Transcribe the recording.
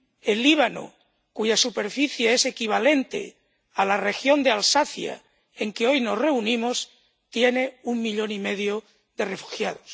El Líbano, cuya superficie es equivalente a la región de Alsacia en que hoy nos reunimos, tiene un millón y medio de refugiados.